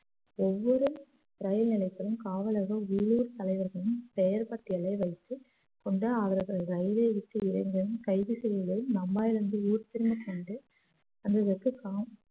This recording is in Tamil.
ஒவ்வொரு ரயில் நிலையத்திலும் காவலர்கள் உள்ளூர் தலைவர்களின் பெயர் பட்டியலை வைத்து கொண்டு அவர்களை ரயிலைவிட்டு இறங்கியதும் கைது செய்வதில்